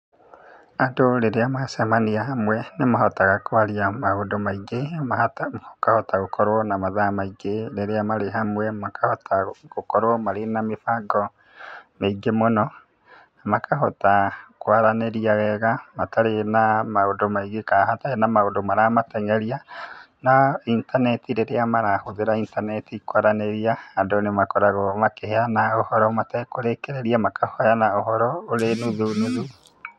Andũ rĩrĩa macemania hamwe, nĩ mahotaga kwaria maũndũ maingĩ, makahota gũkorwo na mathaa maingĩ, rĩrĩa marĩ hamwe, makahota gũkorwo marĩ na mĩbango mĩingĩ mũno, makahota kwaranĩria wega, matarĩ na maũndũ maingĩ ka hatarĩ na maũndũ maramateng'eria. Na intaneti, rĩrĩa marahũthĩra intaneti kwaranĩria, andũ nĩ makoragwo makĩheana ũhoro matekũrĩkĩrĩria, makaheana ũhoro ũrĩ nuthu nuthu.